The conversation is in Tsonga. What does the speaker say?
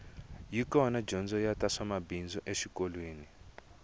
yi kona dyondzo ya ta mabindzu exikolweni